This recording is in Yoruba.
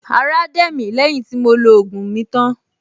Ará dẹ̀ mí lẹ́yìn tí mo lo ògùn mi tán